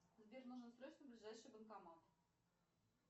сбер нужно срочно ближайший банкомат